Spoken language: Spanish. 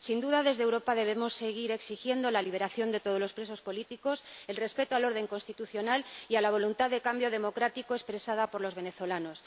Sin duda, desde Europa debemos seguir exigiendo la liberación de todos los presos políticos, el respeto al orden constitucional y a la voluntad de cambio democrático expresada por los venezolanos.